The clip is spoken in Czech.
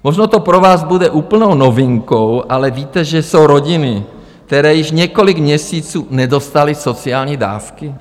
Možná to pro vás bude úplnou novinkou, ale víte, že jsou rodiny, které již několik měsíců nedostaly sociální dávky?